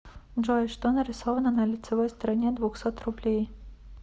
джой что нарисовано на лицевой стороне двухсот рублей